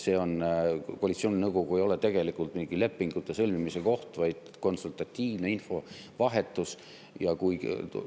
Koalitsiooninõukogu ei ole tegelikult mingi lepingute sõlmimise koht, vaid konsultatiivse infovahetamise.